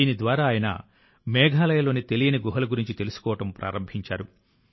దీని ద్వారా ఆయన మేఘాలయలోని తెలియని గుహల గురించి తెలుసుకోవడం ప్రారంభించారు